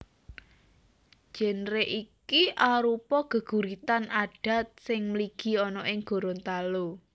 Génre iki arupa geguritan adat sing mligi ana ing Gorontalo